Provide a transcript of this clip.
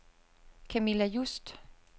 Camilla Just